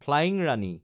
flying Rani